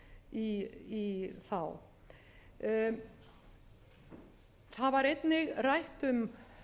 í þá það var einnig rætt og beðið um